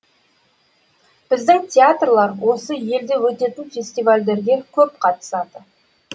біздің театрлар осы елде өтетін фестивальдерге көп қатысады